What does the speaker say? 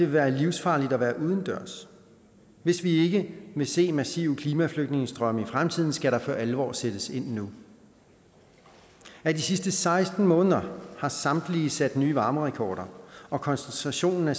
være livsfarligt at være udendørs hvis vi ikke vil se massive klimaflygtningestrømme i fremtiden skal der for alvor sættes ind nu af de sidste seksten måneder har samtlige sat nye varmerekorder og koncentrationen af